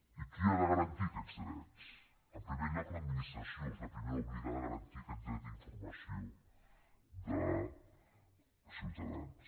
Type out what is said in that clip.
i qui ha de garantir aquests drets en primer lloc l’administració és la primera obligada a garantir aquest dret d’informació dels ciutadans